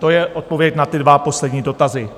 To je odpověď na ty dva poslední dotazy.